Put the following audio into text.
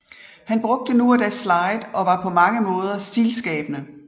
Han brugte nu og da slide og var på mange måder stilskabende